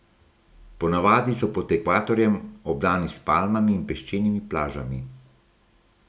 Ponavadi so pod ekvatorjem, obdani s palmami in peščenimi plažami.